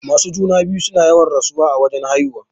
Masu juna-biyu suna yawan rasuwa a wajan haihuwa.